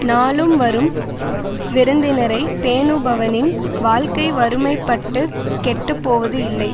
நாளும் வரும் விருந்தினரை பேணுபவனின் வாழ்க்கை வறுமைப்பட்டுக் கெட்டு போவது இல்லை